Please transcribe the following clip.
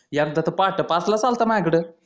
एकदा तर पहाटे पाचलाच आला होता माझ्याकड